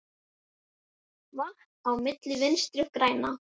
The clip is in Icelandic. Vatn á myllu Vinstri grænna?